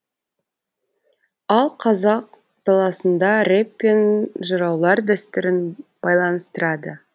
ал қазақ даласында рэп пен жыраулар дәстүрін байланыстырады